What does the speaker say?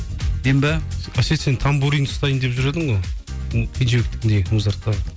мен бе әсет сен танбурин ұстайын деп жүр едің ғой ы кенжібектікіндей музарттағы